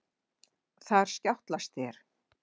Þar skjátlast þér.